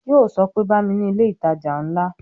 Yo sọ pé "Bá mi ni ilé ìtajà ńlá"